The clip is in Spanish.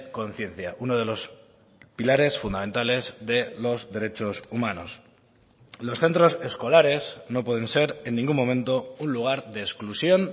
conciencia uno de los pilares fundamentales de los derechos humanos los centros escolares no pueden ser en ningún momento un lugar de exclusión